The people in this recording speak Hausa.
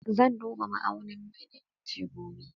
Zan duba ma'aunin mai na inji gobe